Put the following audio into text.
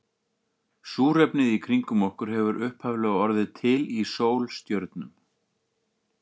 Súrefnið í kringum okkur hefur upphaflega orðið til í sólstjörnum.